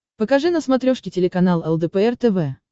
покажи на смотрешке телеканал лдпр тв